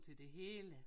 Til det hele